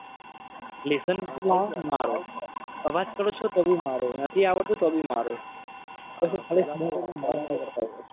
Lesson નથી. લાયા મારો અવાજ કરો છો. તો બી મારો નથી આવડતું તો બી મારો.